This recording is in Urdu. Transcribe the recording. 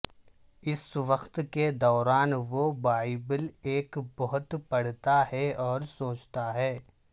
اس وقت کے دوران وہ بائبل ایک بہت پڑھتا ہے اور سوچتا ہے